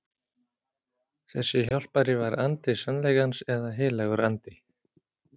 Þessi hjálpari var andi sannleikans eða heilagur andi.